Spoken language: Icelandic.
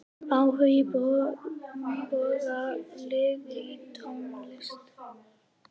Áhugi Boga liggur í tónlist.